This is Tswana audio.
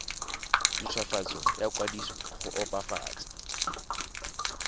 ntshwafatso ya kwadiso go opafatsa